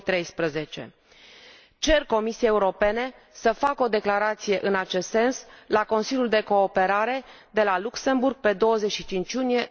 2013. Cer Comisiei Europene să facă o declarație în acest sens la Consiliul de cooperare de la Luxemburg, pe 25 iunie